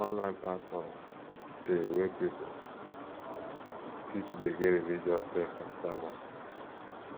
online platforms de wey pipo fit de get di religous text and sermons